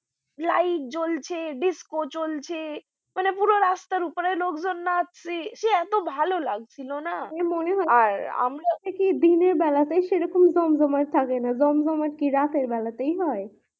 light জ্বলছে, disco চলছে, মানে পুরো রাস্তার ওপরে লোকজন নাচছে সে এতো ভালো লাগছিল না মনে হচ্ছিলো দিনের বেলা তে সেরকম জমজমাট থাকে না জমজমাট কি রাতের বেলাতে হয়?